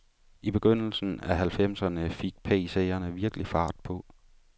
I begyndelsen af halvfemserne fik PCerne virkelig fart på.